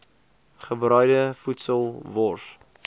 gebraaide voedsel wors